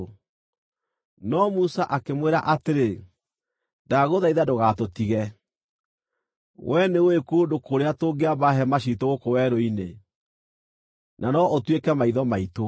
No Musa akĩmwĩra atĩrĩ, “Ndagũthaitha ndũgatũtige. Wee nĩũũĩ kũndũ kũrĩa tũngĩamba hema ciitũ gũkũ werũ-inĩ, na no ũtuĩke maitho maitũ.